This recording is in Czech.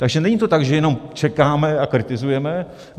Takže není to tak, že jenom čekáme a kritizujeme.